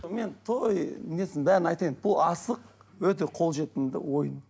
мен той несін бәрін айтайын бұл асық өте қол жетімді ойын